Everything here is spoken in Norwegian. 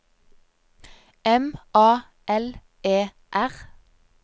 M A L E R